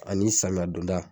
A ni samiya donda